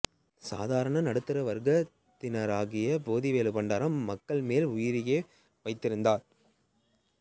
சாதாரண நடுத்தர வர்கத்தவனாகிய போத்திவேலு பண்டாரம் மகள்கள் மேல் உயிரையே வைத்திருக்கிறார்